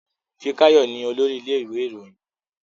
Fikayo ní olórí ilé ìwé Ìròyìn yí.